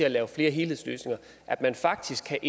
at lave flere helhedsløsninger at man faktisk kan